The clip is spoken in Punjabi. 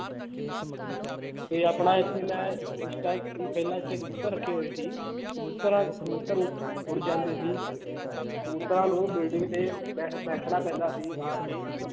ਤੇ ਆਪਣਾ ਇੱਥੇ ਮੈਂ ਇਸ ਪਹਿਲਾਂ ਇੱਥੇ ਕਬੂਤਰ ਰੱਖੇ ਹੋਏ ਸੀ ਕਬੂਤਰਾਂ ਕਬੂਤਰ ਉੱਡ ਜਾਂਦੇ ਸੀ ਕਬੂਤਰਾਂ ਨੂੰ building ਤੇ ਬੈ ਬੈਠਣਾ ਪੈਂਦਾ ਸੀ ਹਾਰ ਕੇ